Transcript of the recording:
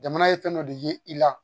Jamana ye fɛn dɔ de ye i la